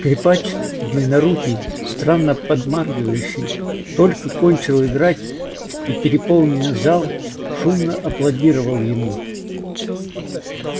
скрипач длиннорукий странно подмаргивающий только кончил играть и переполненный зал шумно аплодировал ему